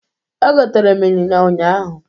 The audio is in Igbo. Egotere m ịnyịnya ụnyaahụ.